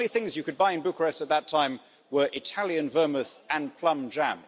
The only things you could buy in Bucharest at that time were Italian vermouth and plum jam.